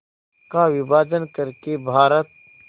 का विभाजन कर के भारत